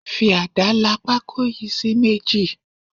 Fi ada la pako yìí sí méjì.